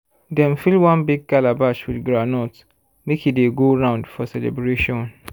dem fill one big calabash with groundnut make e dey go round for celebration.